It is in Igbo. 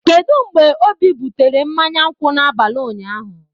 Kedu mgbe obi butere mmanya nkwụ n'abalị ụnyaahụ?